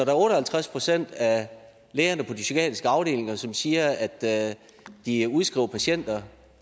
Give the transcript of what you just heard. er otte og halvtreds procent af lægerne på de psykiatriske afdelinger som siger at de udskriver patienter